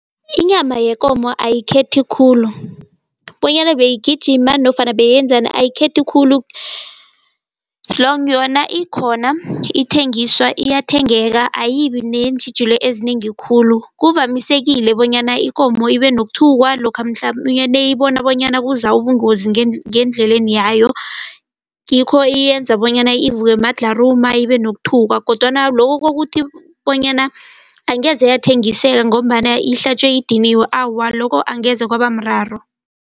Inyama yekomo ayikhethi khulu bonyana beyigijima nofana bayenzani ayikhethi khulu. yona ikhona ithengiswa iyathengeka ayibi neentjhijilo ezinengi khulu. Kuvamisekile bonyana ikomo ibe nokuthukwa lokha mhlamunye nayibona bonyana kuza ubungozi ngendleleni yayo ngikho iyenza bonyana ivukwe madlharuma, ibe nokuthukwa kodwana lokho kokuthi bonyana angeze yathengiseka ngombana ihlatjwe idiniwe. Awa lokho angeze kwaba mraro.